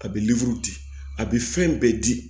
A bɛ di a bɛ fɛn bɛɛ di